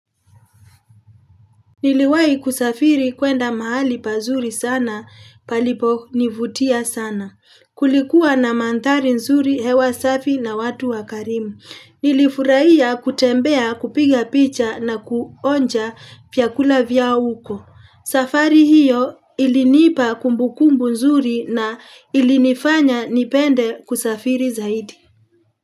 Niliwahi kusafiri kwenda mahali pazuri sana paliponivutia sana. Kulikuwa na mandhari nzuri hewa safi na watu wakarimu. Nilifurahia kutembea kupiga picha na kuonja vyakula vya huko. Safari hiyo ilinipa kumbukumbu nzuri na ilinifanya nipende kusafiri zaidi.